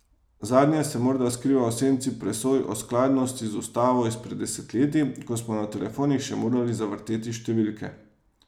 Zadnje se morda skriva v senci presoj o skladnosti z ustavo izpred desetletij, ko smo na telefonih še morali zavrteti številke.